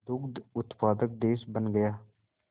दुग्ध उत्पादक देश बन गया